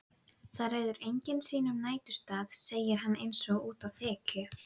Það ræður enginn sínum næturstað, segir hann einsog útá þekju.